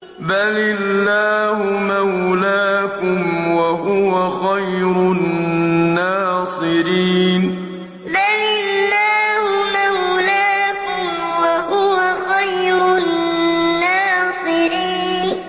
بَلِ اللَّهُ مَوْلَاكُمْ ۖ وَهُوَ خَيْرُ النَّاصِرِينَ بَلِ اللَّهُ مَوْلَاكُمْ ۖ وَهُوَ خَيْرُ النَّاصِرِينَ